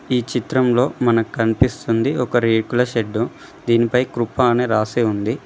ఈ చిత్రంలో మన కనిపిస్తుంది ఒక రేకుల షెడ్డు దీనిపై కృప అని రాసి ఉంది.